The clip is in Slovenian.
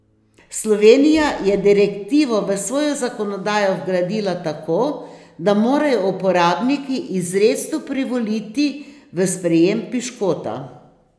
Slovenija je direktivo v svojo zakonodajo vgradila tako, da morajo uporabniki izrecno privoliti v sprejem piškota.